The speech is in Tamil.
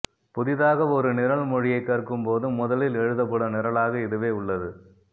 புதிதாக ஒரு நிரல் மொழியை கற்கும் போது முதலில் எழுதப்படும் நிரலாக இதுவே உள்ளது